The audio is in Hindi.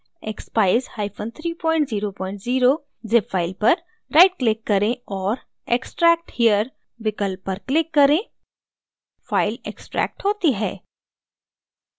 expeyes300 zip फ़ाइल पर right click करें और extract here विकल्प पर click करें फ़ाइल extract होती है